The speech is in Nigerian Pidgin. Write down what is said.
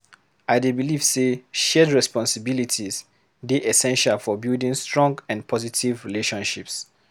I dey believe say shared responsibilities dey essential for building strong and positive relationships.